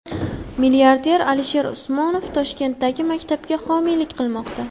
Milliarder Alisher Usmonov Toshkentdagi maktabga homiylik qilmoqda.